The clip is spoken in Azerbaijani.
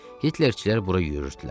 Hitlerçilər bura yüyrürdülər.